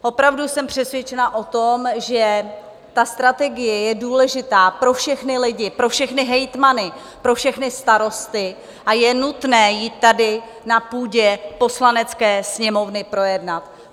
Opravdu jsem přesvědčena o tom, že ta strategie je důležitá pro všechny lidi, pro všechny hejtmany, pro všechny starosty a je nutné ji tady na půdě Poslanecké sněmovny projednat.